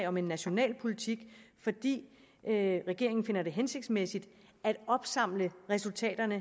om en national politik fordi regeringen finder det hensigtsmæssigt at opsamle resultaterne